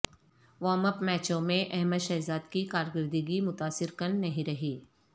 warm up میچوں میں احمد شہزاد کی کارکردگی متاثر کن نہیں رہی